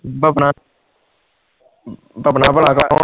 ਭਾਪਣਾ ਭਾਪਣਾ ਬੜਾ